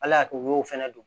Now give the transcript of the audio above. Ala y'a kɛ u y'o fɛnɛ don